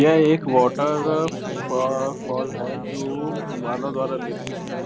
यह एक वॉटर फ़ो फॉल है जो मानव द्वारा निर्मित है